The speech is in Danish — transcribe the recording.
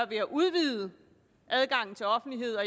ved at udvide adgangen til offentlighed og